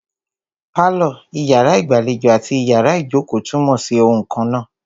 Pálọ̀, iyàrá ìgbàlejò àti iyàrá ìjókò túnmọ̀ sí oun kannáà.